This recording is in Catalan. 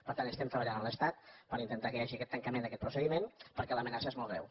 per tant estem treballant amb l’estat per intentar que hi hagi aquest tancament d’aquest procediment perquè l’amenaça és molt greu